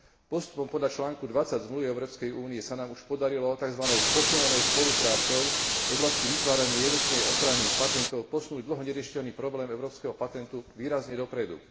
Postupom podľa článku 20 Zmluvy o Európskej únii sa nám už podarilo takzvanou posilnenou spoluprácou v oblasti vytvárania jednotnej ochrany patentov posunúť dlho neriešiteľný problém európskeho patentu výrazne dopredu.